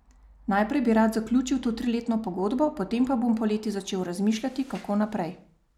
Najprej bi rad zaključil to triletno pogodbo, potem pa bom poleti začel razmišljati, kako naprej.